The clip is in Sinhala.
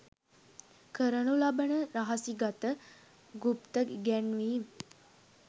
කරනු ලබන රහසිගත ගුප්ත ඉගැන්වීම්